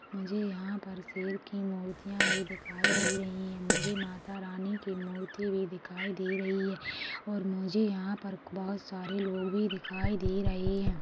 मुझे यहाँ पर शेर की मूर्तिया भी दिखाई दे रही हैं मुझे मातारानी की मूर्ति भी दिखाई भी दे रही हैं और मुझे यहाँ पर बहुत सारे लोग भी दिखाई दे रहे हैं।